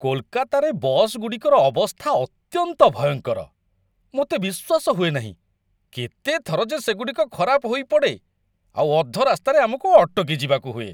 କୋଲକାତାରେ ବସ୍‌ଗୁଡ଼ିକର ଅବସ୍ଥା ଅତ୍ୟନ୍ତ ଭୟଙ୍କର! ମୋତେ ବିଶ୍ୱାସ ହୁଏ ନାହିଁ, କେତେ ଥର ଯେ ସେଗୁଡ଼ିକ ଖରାପ ହୋଇପଡ଼େ, ଆଉ ଅଧରାସ୍ତାରେ ଆମକୁ ଅଟକିଯିବାକୁ ହୁଏ!